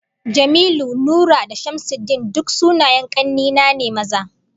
Jamilu, Nura da Shamsuddin duk sunayen kanne na ne maza